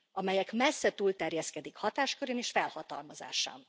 amelyek messze túlterjeszkednek hatáskörén és felhatalmazásán.